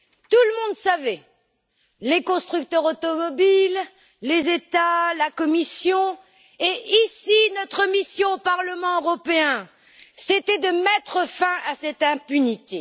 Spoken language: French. Tout le monde savait les constructeurs automobiles, les États, la Commission. Notre mission au Parlement européen, c'était de mettre fin à cette impunité.